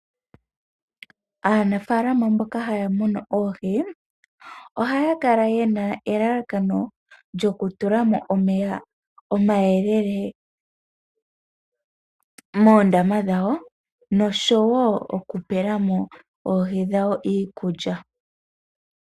Aanafaalama mboka haya munu oohi, ohaya kala ye na elalakano lyo ku tula mo omeya omayelele moondama dhawo osho wo oku pe la mo oohi dhawo iikulya.